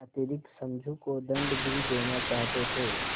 अतिरिक्त समझू को दंड भी देना चाहते थे